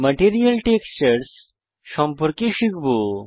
material textures সম্পর্কে শিখব